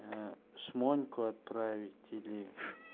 ээ шмоньку отправить или